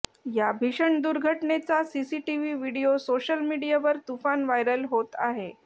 या भीषण दुर्घटनेचा सीसीटीव्ही व्हिडीओ सोशल मीडियावर तुफान व्हायरल होत आहे